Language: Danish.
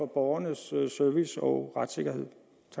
borgernes service og retssikkerhed